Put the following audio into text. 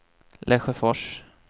Lesjöfors